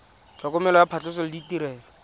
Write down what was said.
tlhokomelo ya phatlhoso le ditirelo